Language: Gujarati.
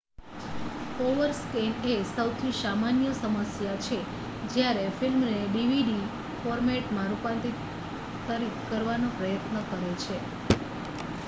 ઓવરસ્કૅન એ સૌથી સામાન્ય સમસ્યાછે જ્યારે ફિલ્મને ડીવીડી ફોર્મેટમાં રૂપાંતરિત કરવાનો પ્રયત્ન કરે છે